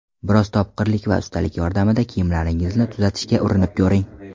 Biroz topqirlik va ustalik yordamida kiyimlaringizni tuzatishga urinib ko‘ring.